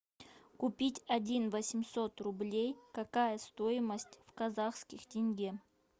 купить один восемьсот рублей какая стоимость в казахских тенге